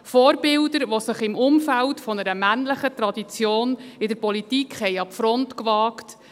Vorbilder, die sich im Umfeld einer männlichen Tradition in der Politik an die Front wagten;